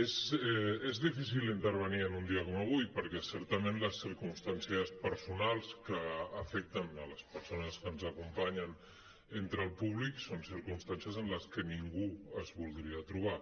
és difícil intervenir en un dia com avui perquè certament les circumstàncies personals que afecten les persones que ens acompanyen entre el públic són circumstàncies en les que ningú es voldria trobar